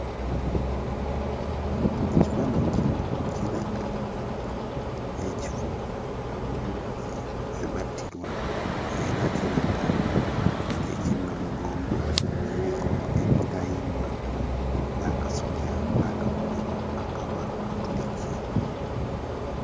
Ekifaananyi kino kiraga ekifo abajulizi we battirwa, era kiraga nga eky'e Namugongo, kiriko emitayimbwa n'akasolya n'akabonero Akabakatuliki.